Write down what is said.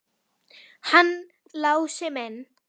Hann Lási minn!